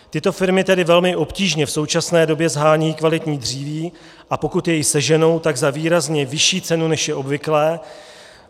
Tyto firmy tedy velmi obtížně v současné době shánějí kvalitní dříví, a pokud je seženou, tak za výrazně vyšší cenu, než je obvyklé.